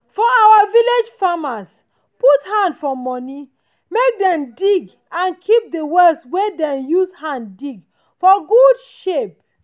for our village farmers put hand for money make dem dig and keep de well wey them use hand dig for good shape.